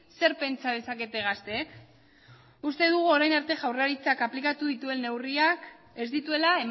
zer pentsa dezakete gazteek uste dugu orain arte jaurlaritzak aplikatu dituen neurriak ez dituela